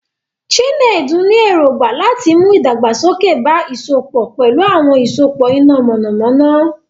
Chinedu ní èrògbà láti mú ìdàgbàsókè bá ìsopọ̀ pẹ̀lú àwọn ìsopọ̀ iná mọ̀nàmọ́ná.